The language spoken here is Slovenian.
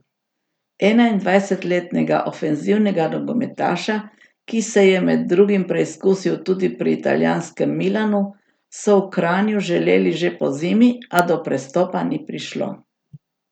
Enaindvajsetletnega ofenzivnega nogometaša, ki se je med drugim preizkusil tudi pri italijanskem Milanu, so v Kranju želeli že pozimi, a do prestopa ni prišlo.